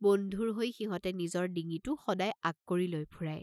বন্ধুৰ হৈ সিহঁতে নিজৰ ডিঙিটো সদাই আগ কৰি লৈ ফুৰাই।